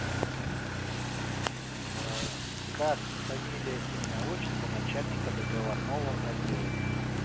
аа как фамилия имя отчество начальника договорного отдела